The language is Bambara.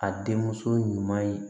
A den muso ɲuman ye